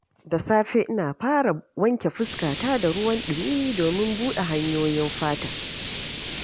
Da safe, ina farawa da wanke fuskata da ruwan ɗumi, domin buɗe hanyoyin fata.